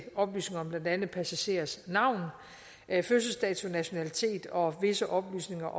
oplysninger om blandt andet passagerers navne fødselsdage nationaliteter og visse oplysninger